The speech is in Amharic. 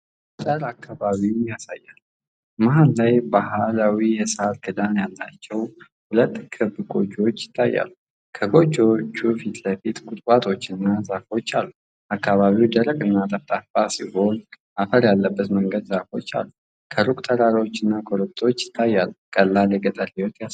የገጠር አካባቢን ያሳያል። መሃል ላይ ባህላዊ የሳር ክዳን ያላቸው ሁለት ክብ ጎጆዎች ይታያሉ። ከጎጆዎቹ ፊት ለፊት ቁጥቋጦዎችና ዛፎች አሉ። አካባቢው ደረቅና ጠፍጣፋ ሲሆን አፈር ያለበት መንገድና ዛፎች አሉ። ከሩቅ ተራራዎችና ኮረብታዎች ይታያሉ። ቀላል የገጠር ሕይወትን ያሳያል።